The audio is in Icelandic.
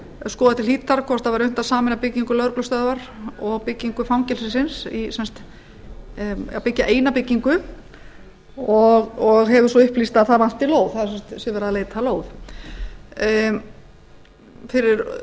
skoða til hlítar hvort það væri unnt að sameina byggingu lögreglustöðvar og byggingu fangelsisins eða byggja eina byggingu og hefur verið upplýst að það vanti lóð það sé verið að leita að lóð fyrir